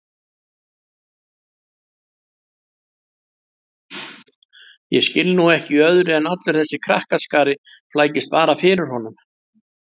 Ég skil nú ekki í öðru en allur þessi krakkaskari flækist bara fyrir honum